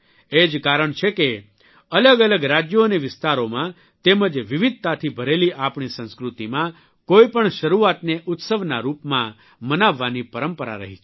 એ જ કારણ છે કે અલગ અલગ રાજયો અને વિસ્તારોમાં તેમજ વિવિધતાથી ભરેલી આપણી સંસ્કૃતિમાં કોઇપણ શરૂઆતને ઉત્સવના રૂપમાં મનાવવાની પરંપરા રહી છે